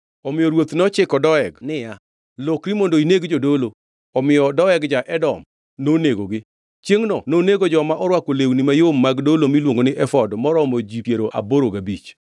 Omiyo ruoth nochiko Doeg niya, “Lokri mondo ineg jodolo.” Omiyo Doeg ja-Edom nonegogi. Chiengʼno nonego joma orwako lewni mayom mag dolo miluongo ni efod maromo ji piero aboro gabich.